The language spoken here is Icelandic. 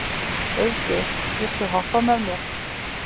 Auðgeir, viltu hoppa með mér?